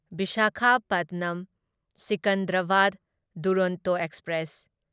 Visakhapatnam Secunderabad Duronto express